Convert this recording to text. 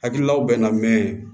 Hakililaw bɛ na mɛn